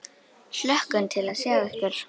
Hlökkum til að sjá ykkur.